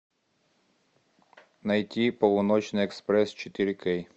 найти полуночный экспресс четыре кей